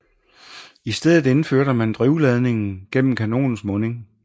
I stedet indførte man drivladningen gennem kanonens munding